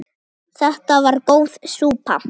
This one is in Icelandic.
Þetta var góð súpa.